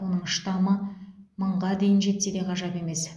оның штамы мыңға дейін жетсе де ғажап емес